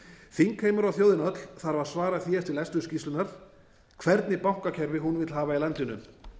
þingheimur og þjóðin öll þarf að svara því eftir lestur skýrslunnar hvernig bankakerfi hún vill hafa í landinu